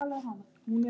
Boli, buxur og peysur.